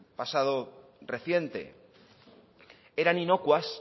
pasado reciente eran inocuas